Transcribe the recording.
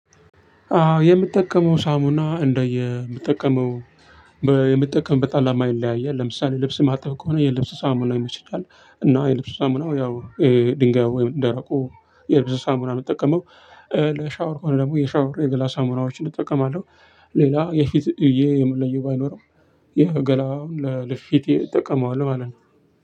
አዎ የምጠቀመው ሳሙና እንደየ የምጠቀመው የምጠቀም አላማ ይለያያል ለምሳሌ ልብስ ማጠብ ከሆነ የልብስ ሳሙና ይመችኛል እና የልብሱ ሳሙናው ያው ድንጋዩ ወይም ደረቁ የልብስ ሳሙና ነው የምጠቀመው። ለሻወር ከሆነ ደግሞ የሻወር የገላ ሳሙናዎችን እጠቀማለሁ። ሌላ የፊት ብዬ የምለየው ባይኖርም የገላውን ለፊቴ እጠቀመዋለሁ ማለት ነው።